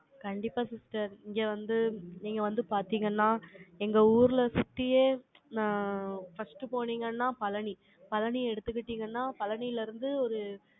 கண்டிப்பா sister, இங்க வந்து, நீங்க வந்து பார்த்தீங்கன்னா, எங்க ஊர்ல சுத்தியே, நான் first போனீங்கன்னா, பழனி. பழனியை எடுத்துக்கிட்டீங்கன்னா, பழனியில இருந்து ஒரு